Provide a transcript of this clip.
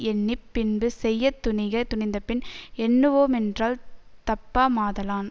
எண்ணி பின்பு செய்ய துணிக துணிந்தபின் எண்ணுவோமென்றல் தப்பாமாதலான்